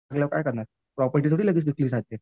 केल्यावर काय करणार प्रॉपर्टी थोडीच लगेच विकली जाते.